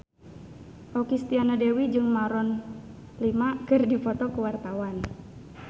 Okky Setiana Dewi jeung Maroon 5 keur dipoto ku wartawan